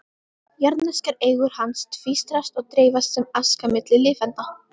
Jarðneskar eigur hans tvístrast og dreifast sem aska milli lifenda.